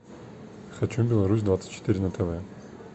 хочу беларусь двадцать четыре на тв